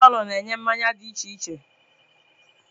Beia palọ na-enye mmanya dị iche iche